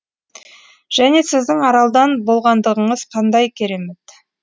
және сіздің аралдан болғандығыңыз қандай керемет